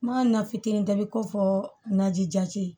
Ma na fitinin ta i bi kofɔ naji jati